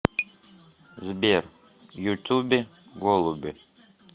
сбер ютубе голуби